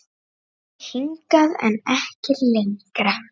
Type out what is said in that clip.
Hingað, en ekki lengra.